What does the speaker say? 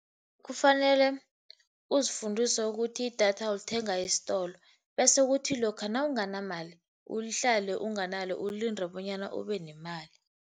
Ukufanele uzifundise ukuthi idatha ulithenga isitolo, bese kuthi lokha nawunganamali uhlale unganalo ulinde bonyana ubenemali.